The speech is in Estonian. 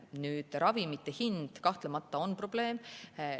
Nüüd, ravimite hind kahtlemata on probleem.